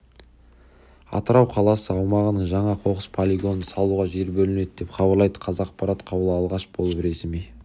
атырау қаласы аумағынан жаңа қоқыс полигонын салуға жер бөлінді деп хабарлайды қазақпарат қаулы алғаш болып ресми